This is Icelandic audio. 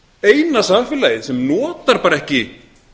eina samfélagið sem notar bara ekki